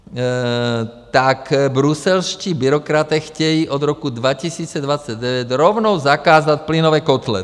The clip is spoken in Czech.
Tak bruselští byrokraté chtějí od roku 2029 rovnou zakázat plynové kotle.